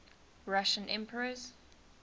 russian emperors